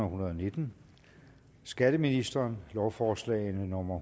hundrede og nitten skatteministeren lovforslag nummer